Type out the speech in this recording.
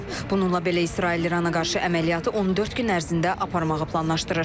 Bununla belə İsrail İrana qarşı əməliyyatı 14 gün ərzində aparmağı planlaşdırır.